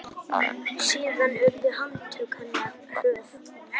Síðan urðu handtök hennar hröð.